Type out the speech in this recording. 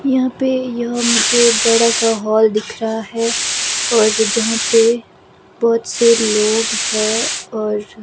यहाँ पे यह मुझे बड़ा सा हॉल दिख रहा है और जहाँ पे बहुत से लोग हैं और--